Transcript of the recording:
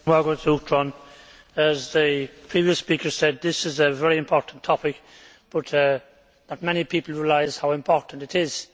Mr President, as the previous speaker said, this is a very important topic, but not many people realise how important it is.